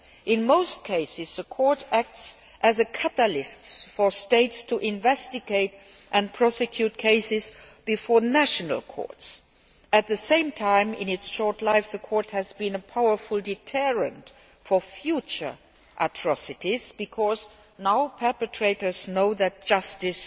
In most cases, the Court acts as a catalyst for states to investigate and prosecute cases before national courts. At the same time, in its short life, the Court has been a powerful deterrent for future atrocities because perpetrators now know that justice